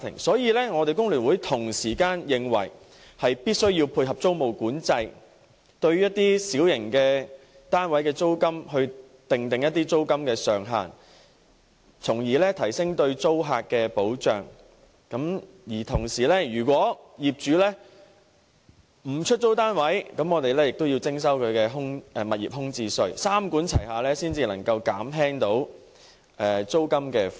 所以，工聯會認為必須配合租務管制，訂定一些小型單位的租金上限，提升對租客的保障，如果業主不肯出租單位，便向他們徵收物業空置稅，三管齊下，才能減輕市民的租金負擔。